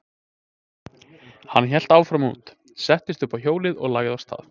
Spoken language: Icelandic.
Hann hélt áfram út, settist uppá hjólið og lagði af stað.